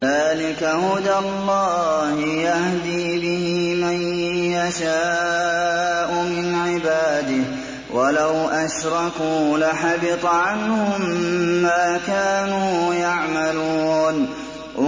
ذَٰلِكَ هُدَى اللَّهِ يَهْدِي بِهِ مَن يَشَاءُ مِنْ عِبَادِهِ ۚ وَلَوْ أَشْرَكُوا لَحَبِطَ عَنْهُم مَّا كَانُوا يَعْمَلُونَ